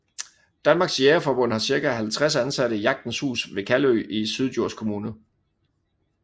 Danmarks Jægerforbund har cirka 50 ansatte i Jagtens Hus ved Kalø i Syddjurs kommune